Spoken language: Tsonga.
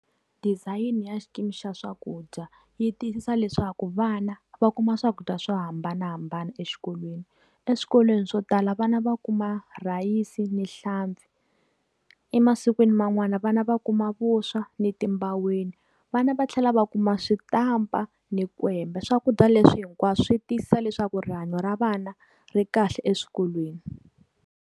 Design-i ya xikimi xa swakudya yi tiyisisa leswaku vana va kuma swakudya swo hambanahambana exikolweni. Eswikolweni swo tala vana va kuma rhayisi ni hlampfi. Emasikwini man'wani vana va kuma vuswa ni timbaweni. Vana va tlhela va kuma switampa ni kwembe. Swakudya leswi hinkwaswo swi tiyisisa leswaku rihanyo ra vana ri kahle eswikolweni.